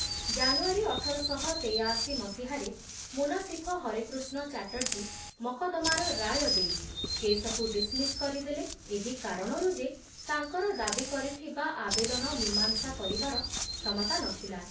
ଜାନୁଆରୀ ଅଠର ଶହ ତେଯାଅଶି ମସିହାରେ ମୁନସିଫ ହରେକୃଷ୍ଣ ଚାଟର୍ଜୀ ମକଦ୍ଦମାର ରାୟ ଦେଇ କେସକୁ ଡିସମିସ କରି ଦେଲେ ଏହି କାରଣରୁ ଯେ ତାଙ୍କର ବାଦୀ କରିଥିବା ଆବେଦନ ମୀମାଂସା କରିବାର କ୍ଷମତା ନ ଥିଲା ।